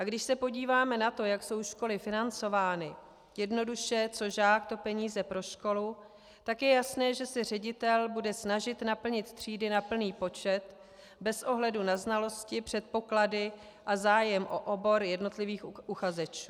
A když se podíváme na to, jak jsou školy financovány - jednoduše co žák, to peníze pro školu -, tak je jasné, že se ředitel bude snažit naplnit třídy na plný počet bez ohledu na znalosti, předpoklady a zájem o obor jednotlivých uchazečů.